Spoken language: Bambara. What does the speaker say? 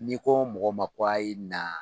N'i ko mɔgɔ ma ko a' ye na